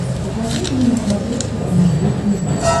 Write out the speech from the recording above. покажи мне на смотрешке канал ру ти ви